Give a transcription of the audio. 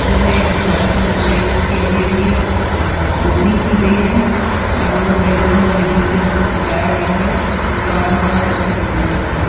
यह एक दुकान का दृश्य है जिसकी अभी अभी अह ओपनिंग की गई है चारों ओर बैलून और रिबन से इसको सजाया गया है दुकान बहुत अच्छी दिखाई दे रही है।